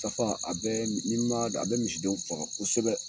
Tafa, a bɛɛ m n'i m'a d a bɛ misidenw faga kosɛbɛ.